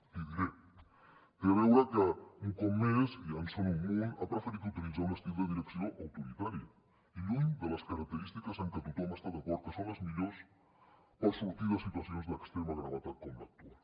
l’hi diré hi té a veure que un cop més i ja en són un munt ha preferit utilitzar un estil de direcció autoritari i lluny de les característiques que tothom està d’acord que són les millors per sortir de situacions d’extrema gravetat com l’actual